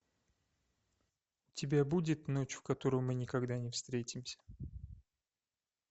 у тебя будет ночь в которую мы никогда не встретимся